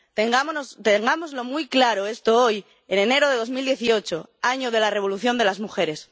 Tengamos muy claro esto hoy, en enero de 2018, año de la revolución de las mujeres.